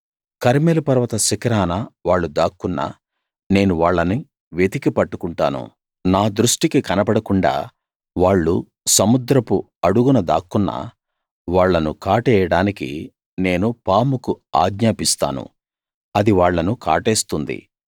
కర్మెలు పర్వత శిఖరాన వాళ్ళు దాక్కున్నా నేను వాళ్ళను వెతికి పట్టుకుంటాను నా దృష్టికి కనబడకుండా వాళ్ళు సముద్రపు అడుగున దాక్కున్నా వాళ్ళను కాటేయడానికి నేను పాముకు ఆజ్ఞాపిస్తాను అది వాళ్ళను కాటేస్తుంది